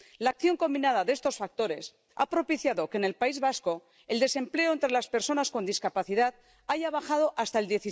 La acción combinada de estos factores ha propiciado que en el País Vasco el desempleo entre las personas con discapacidad haya bajado hasta el